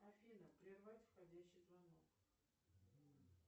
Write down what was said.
афина прервать входящий звонок